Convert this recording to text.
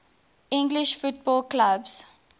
english football clubs